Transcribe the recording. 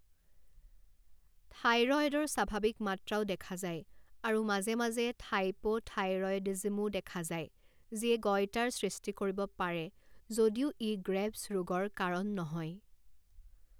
থাইৰয়ডৰ স্বাভাৱিক মাত্ৰাও দেখা যায় আৰু মাজে মাজে হাইপ'থাইৰয়ডিজমো দেখা যায় যিয়ে গইটাৰ সৃষ্টি কৰিব পাৰে যদিও ই গ্ৰেভছ ৰোগৰ কাৰণ নহয়।